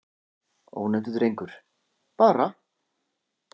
Ónefndur drengur: Bara.